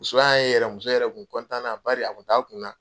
Muso y'a ye yɛrɛ muso yɛrɛ kun kɔntanna bari a kun t'a kun na .